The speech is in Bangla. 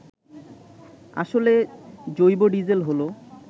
আসলে জৈবডিজেল হল